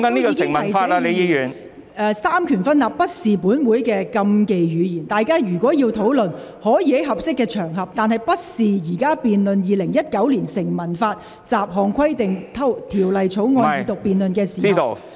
我亦已提醒議員，三權分立不是本會的禁忌語言，如果議員要討論三權分立，可以在合適的場合提出，而不是在現在《2019年成文法條例草案》二讀辯論的時候。